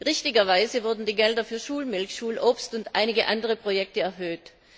Richtigerweise wurden die Gelder für Schulmilch, Schulobst und einige andere Projekte erhöht.